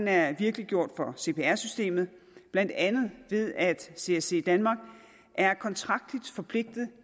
er virkeliggjort for cpr systemet blandt andet ved at csc danmark er kontraktligt forpligtet